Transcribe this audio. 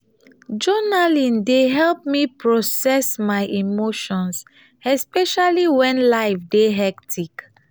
journaling dey help me process my emotions especially when life dey hectic.